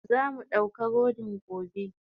Zamu dauka rodin gobe.